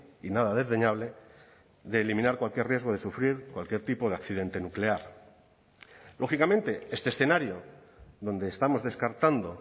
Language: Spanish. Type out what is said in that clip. y nada desdeñable de eliminar cualquier riesgo de sufrir cualquier tipo de accidente nuclear lógicamente este escenario donde estamos descartando